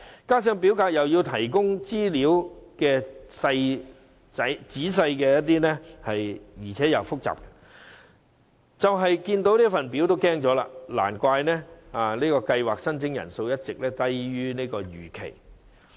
加上表格要求提供的資料既仔細又複雜，申請人單看表格已感害怕，難怪這個計劃的申請人數一直低於預期。